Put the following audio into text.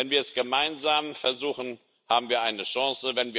Wenn wir es gemeinsam versuchen, haben wir eine Chance.